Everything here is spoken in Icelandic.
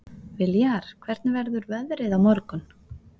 Viljar, hvernig verður veðrið á morgun?